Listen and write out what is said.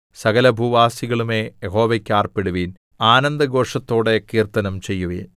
സകലഭൂവാസികളുമേ യഹോവയ്ക്ക് ആർപ്പിടുവിൻ ആനന്ദഘോഷത്തോടെ കീർത്തനം ചെയ്യുവിൻ